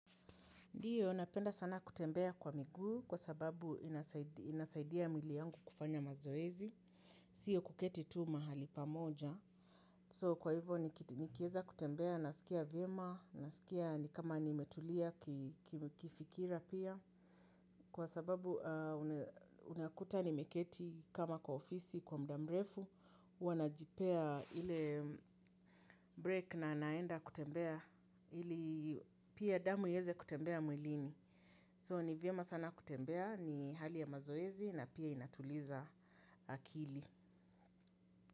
Ndiyo napenda sana kutembea kwa migu kwa sababu inasaidia mili yangu kufanya mazoezi, siyo kuketi tu mahali pamoja. So kwa hivo nikieza kutembea, nasikia viema, nasikia ni kama nimetulia kifikira pia. Kwa sababu unakuta nimeketi kama kwa ofisi kwa mda mrefu, huwa najipea ile break na naenda kutembea, ili pia damu iyeze kutembea mwilini. So ni viema sana kutembea ni hali ya mazoezi na pia inatuliza akili.